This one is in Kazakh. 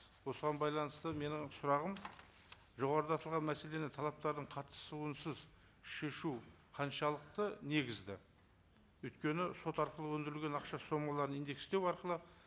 осыған байланысты менің сұрағым жоғарыда аталған мәселені талаптардың қатысуысыз шешу қаншалықты негізді өйткені сот арқылы өндірілген ақша сомаларын индекстеу арқылы